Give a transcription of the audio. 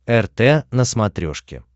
рт на смотрешке